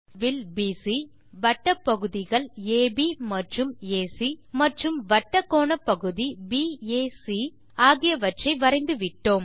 இப்போது வில் பிசி வட்டப் பகுதிகள் அப் மற்றும் ஏசி மற்றும் வட்டக்கோணப்பகுதி பாக் ஆகியவற்றை வரைந்து விட்டோம்